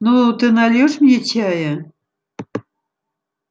ну ты нальёшь мне чая